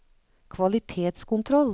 kvalitetskontroll